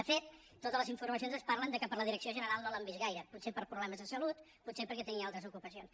de fet totes les informacions ens parlen que per la direc·ció general no l’han vist gaire potser per problemes de salut potser perquè tenia altres ocupacions